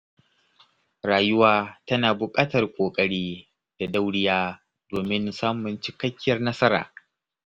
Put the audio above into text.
Rayuwa tana buƙatar ƙoƙari da dauriya domin samun cikakkiyar nasara.